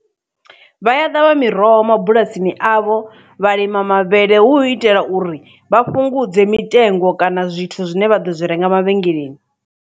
Vha a ṱavha miroho mabulasini avho vha lima mavhele hu itela uri vha fhungudze mitengo kana zwithu zwine vha ḓo zwi renga mavhengeleni.